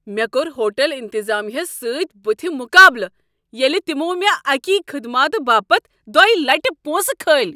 مےٚ کۄر ہوٹٕل انتطامیہ ہس سٕتۍ بُتھہِ مقابلہٕ ییٚلہ تمو مےٚ اکی خدماتہٕ باپتھ دۄیہ لٹہ پونٛسہٕ كھٲلۍ۔